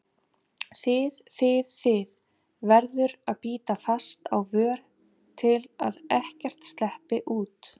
þið þið, þið- verður að bíta fast á vör til að ekkert sleppi út.